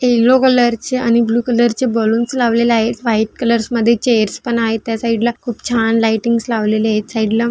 yellow colour चे आणि blue colour चे बलून्स लावलेले आहेत व्हाइट कलर मध्ये चेअर्स पण आहेत त्या साइड ला खूप छान लाइटिंग लावलेले आहेत एक साइड ला--